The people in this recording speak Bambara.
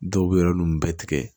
Dɔw bɛ yɔrɔ nun bɛɛ tigɛ